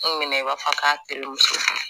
An minɛ i b'a fɔ k'a terimuso